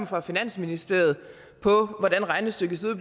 fra finansministeriet på hvordan regnestykket ser